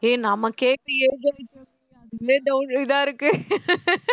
ஏய் நமக்கே age ஆயிட்டிஇருக்கு இதா இருக்கு